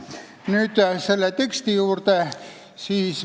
Nüüd selle teksti juurde.